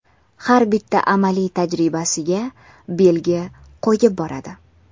Har bitta amaliy tajribasiga belgi qo‘yib boradi.